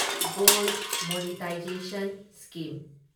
gold monetisation scheme